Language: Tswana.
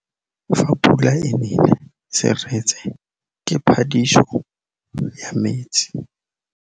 Fa pula e nelê serêtsê ke phêdisô ya metsi.